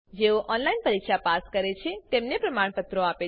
જેઓ ઓનલાઈન પરીક્ષા પાસ કરે છે તેઓને પ્રમાણપત્રો આપે છે